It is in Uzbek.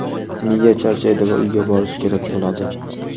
Miya charchaydi va uyga borishi kerak bo‘ladi.